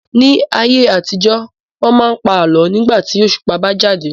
Ní ayé àtijó, wọ́n máa ń pa àlọ́ nígbà tí òṣùpá bá jáde.